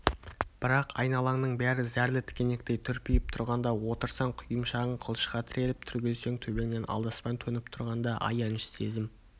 бірақ айналаңның бәрі зәрлі тікенектей түрпиіп тұрғанда отырсаң құйымшағың қылышқа тіреліп түрегелсең төбеңнен алдаспан төніп тұрғанда аяныш сезім